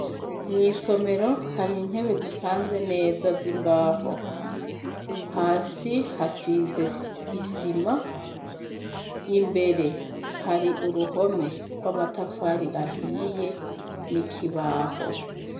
Mwisomero, har' intebe zipanze neza zimbaho, hasi hasize isima. Imbere, hari uruhome rwamatafari ahiye nikibaho